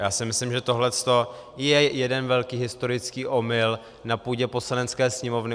Já si myslím, že tohle je jeden velký historický omyl na půdě Poslanecké sněmovny.